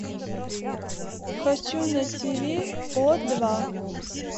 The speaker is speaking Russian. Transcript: хочу на ти ви о два